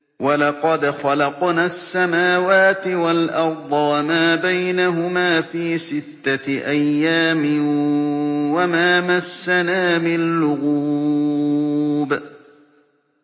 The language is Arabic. وَلَقَدْ خَلَقْنَا السَّمَاوَاتِ وَالْأَرْضَ وَمَا بَيْنَهُمَا فِي سِتَّةِ أَيَّامٍ وَمَا مَسَّنَا مِن لُّغُوبٍ